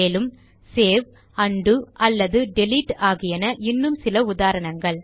மேலும் save undo அல்லது delete ஆகியன இன்னும் சில உதாரணங்கள்